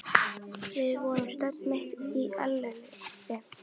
Við vorum stödd mitt í eilífðinni.